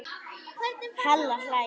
Halla hlær.